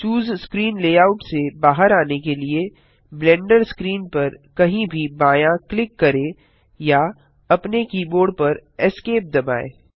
चूसे screen layout से बाहर आने के लिए ब्लेंडर स्क्रीन पर कहीं भी बायाँ क्लिक करें या अपने कीबोर्ड पर Esc दबाएँ